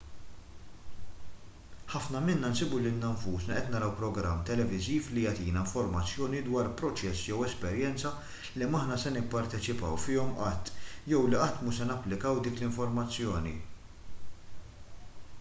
ħafna minna nsibu lilna nfusna qed naraw programm televiżiv li jagħtina informazzjoni dwar proċess jew esperjenza li m'aħna se nipparteċipaw fihom qatt jew li qatt mhux se napplikaw dik l-informazzjoni